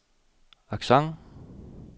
accent